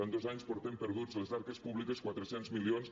en dos anys portem perduts a les arques públiques quatre cents milions